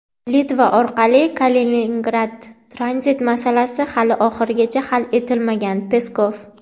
Litva orqali Kaliningradga tranzit masalasi hali oxirigacha hal etilmagan – Peskov.